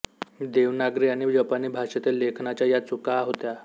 देवनागरी आणि जपानी भाषेतील लेखनाच्या या चुका होत्या